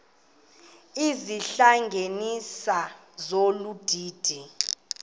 izihlanganisi zolu didi